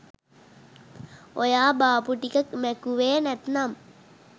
ඔයා බාපු ටික මැකුවෙ නැත්තම්